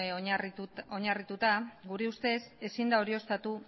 oinarrituta gure ustez ezin da